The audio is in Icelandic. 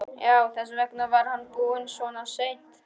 Já, þess vegna var hann búinn svona seint.